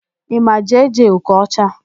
Ị ma Jee-Jee Okocha?